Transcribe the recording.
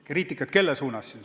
Kriitikat kelle pihta siis?